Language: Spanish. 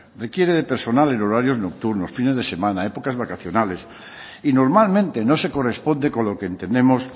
requiere de personal en horarios nocturnos fines de semana épocas vacacionales y normalmente no se corresponde con lo que entendemos